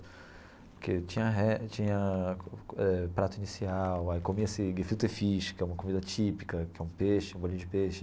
Porque tinha re tinha prato inicial, aí comia esse gefilte fish, que é uma comida típica, que é um peixe um bolinho de peixe.